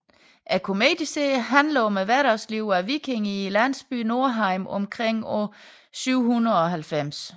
Komedieserien handler om hverdagslivet af vikinger i landsbyen Norheim omkring år 790